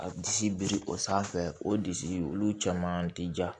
A disi biri o sanfɛ o disi olu caman ti ja